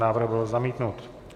Návrh byl zamítnut.